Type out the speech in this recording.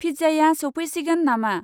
फिज्जाया सौफैसिगोन नामा?